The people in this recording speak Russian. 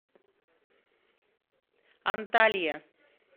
анталья